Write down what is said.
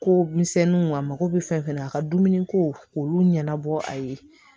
Ko misɛnninw a mako bɛ fɛn fɛn na a ka dumuniko olu ɲɛnabɔ a ye